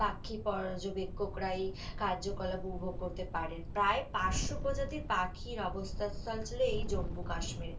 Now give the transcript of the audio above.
পাখি পর্যক্ষকরাই কার্যকলাপ উপভোগ করতে পারে, প্রায় পাঁচশো প্রজাতির পাখির অবস্থান স্থল ছিল এই জম্বু কাশ্মীরে,